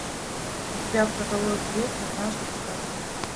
у тебя в каталоге есть однажды в сказке